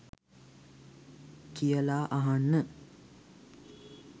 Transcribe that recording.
කියලා අහන්න